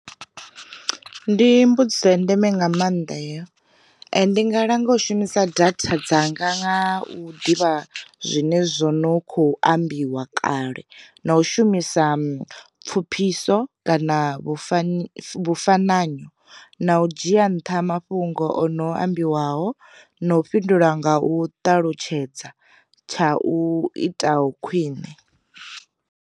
Ndi mbudziso ya ndeme nga maanḓa heyo, ndi nga langa u shumisa data dzanga nga u ḓivha zwine zwo no kho ambiwa kale na u shumisa pfuphiso kana vhufa vhufananyo, na u dzhia nṱha mafhungo o no ambiwaho, no u fhindula nga u ṱalutshedza tsha u itaho khwine.